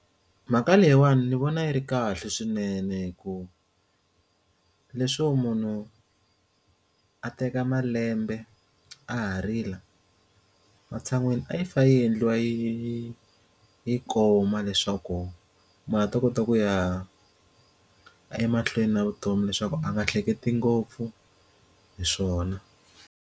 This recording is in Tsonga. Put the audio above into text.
Mhaka leyiwani ndzi vona yi ri kahle swinene hikuva leswo munhu a teka malembe a ha rila matshan'wini a yi pfa yi endliwa yi yi koma leswaku mara a ta kota ku ya emahlweni na vutomi leswaku a nga hleketi ngopfu hi swona.